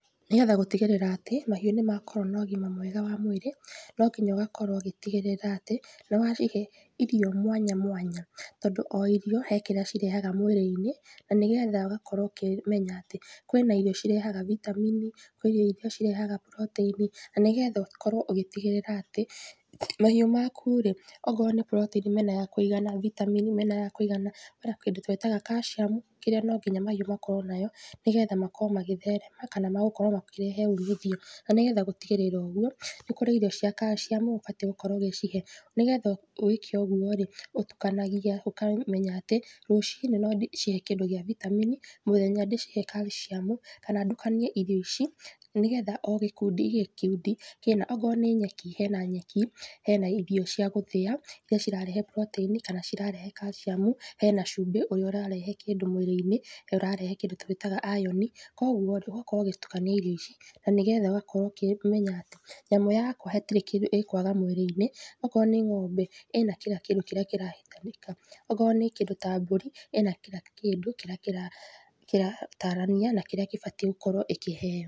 Nĩgetha gũtigĩrĩra atĩ, mahiũ nĩmakorwo nogima mwega wa mwĩrĩ, nonginya ũgakorwo ũgĩtigĩrĩra atĩ, nĩwacihe, irio mwanya mwanya, tondũ o irio, he kĩrĩa cirehaga mwĩrĩ-inĩ, nanĩgetha ũgakorwo ũkĩmenya atĩ, kwĩna irio cirehaga vitamini 'kwĩna iria cirehaga protĩini, nanĩgetha ũkorwo ũgĩtigĩrĩra atĩ, mahiũ maku rĩ, okorwo nĩ proteini mena ya kũigana, vitamini, mena ya kũigana, kwĩna kĩndũ twĩtaga kaciamu, kĩrĩa nonginya mahiũ makorwo nayo, nĩgetha makorwo magĩtherema, kana magũkorwo makĩrehe umithio, nanĩgetha gũtigĩrĩra ũguo, nĩkũrĩ irio iria cia kaciamu ũbatiĩ gũkorwo ũgicihe, nĩgetha wĩke ũguo rĩ, ũtukanagia ũkameya atĩ, rũci-inĩ nondĩcihe kĩndũ gĩa vitamini, mũthenya ndĩcihe kaciamu, kana ndukanie irio ici, nĩgetha o gĩkundi o gĩkundi kĩna, okorwo nĩ nyeki, hena nyeki, hena irio cia gũthĩa, iria cirarehe proteini, kana cirarehe kaciamu, hena cumbĩ ũrĩa ũrĩa ũrarehe kĩndũ mwĩrĩ-inĩ, he ũrarehe kĩndũ twĩtaga iron, koguo rĩ, ũgakorwo ũgĩtukania irio ici, nanĩgetha ũgakorwo ũkĩmenya atĩ, nyamũ yaku hatirĩ kĩndũ ĩkwaga mwĩrĩ-inĩ, okorwo nĩ ng'ombe, ĩna kira kĩndũ kĩrĩa kĩrahĩtanĩka, okorwo nĩ kĩndũ ta mbũri, ĩna kira kĩndũ kĩrĩa kĩra kĩratarania na kĩrĩa ĩbatiĩ gũkorwo ĩkĩheo.